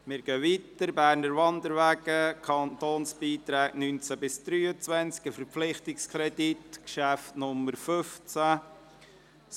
Wir fahren weiter und kommen zum Traktandum 15, einem Verpflichtungskredit «Berner Wanderwege; Kantonsbeiträge 2019–2023.»